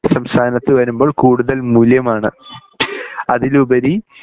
സംസ്ഥാനത്ത് വരുമ്പോൾ കൂടുതൽ മൂല്യമാണ് അതിലുപരി